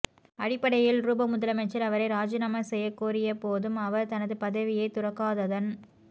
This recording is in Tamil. அடிப்படையில்ரூபவ் முதலமைச்சர் அவரை ராஜிநாமா செய்யக்கோரியபோதும் அவர் தனது பதவியைத் துறக்காததன்